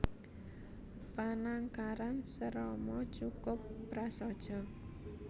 Panangkaran Serama cukup prasaja